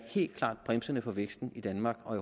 bremsende for væksten i danmark og